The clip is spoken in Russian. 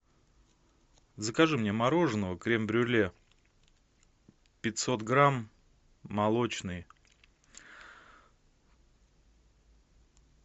закажи мне мороженого крем брюле пятьсот грамм молочный